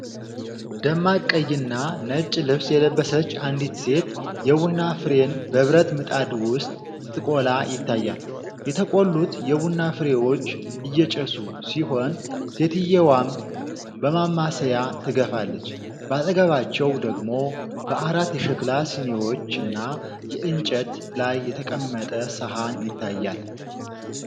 ደማቅ ቀይና ነጭ ልብስ የለበሰች አንዲት ሴት የቡና ፍሬን በብረት ምጣድ ውስጥ ስትቆላ ይታያል። የተቆሉት የቡና ፍሬዎች እያጨሱ ሲሆን፤ ሴትየዋም በማማሰያ ትገፋለች። በአጠገባቸው ደግሞ በአራት የሸክላ ስኒዎችና በእንጨት ላይ የተቀመጠ ሰሃን ይታያል።